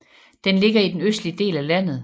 Den ligger i den østlige del af landet